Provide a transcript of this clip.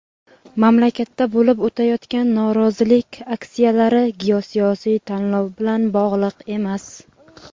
mamlakatda bo‘lib o‘tayotgan norozilik aksiyalari "geosiyosiy tanlov bilan" bog‘liq emas.